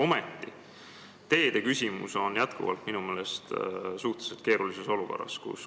Aga teede valdkonnas valitseb minu meelest suhteliselt keeruline olukord.